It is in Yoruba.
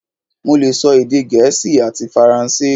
Mo lè sọ èdè gẹ̀ẹ́sì ati faransé